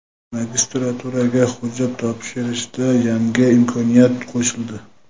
Magistraturaga hujjat topshirshda yangi imkoniyat qo‘shildi.